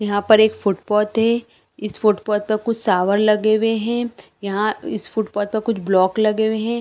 यहाँ पर एक फुटपाथ है इस फुटपाथ पर कुछ शावर लगे हुए है यहाँ इस फुटपाथ पर कुछ ब्लॉक लगे हुए है।